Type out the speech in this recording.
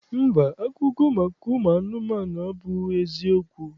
Mba, akụkọ maka ụmụanụmanụ abụghị eziokwu